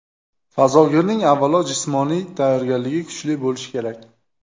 Fazogirning avvalo jismoniy tayyorgarligi kuchli bo‘lishi kerak.